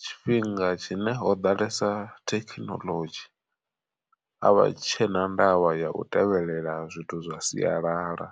tshifhinga tshine ho ḓalesa thekinoḽodzhi, a vha tshena ndavha ya u tevhelela zwithu zwa sialala.